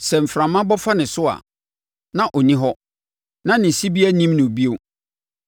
sɛ mframa bɔ fa ne so a, na ɔnni hɔ, na ne sibea nnim no bio.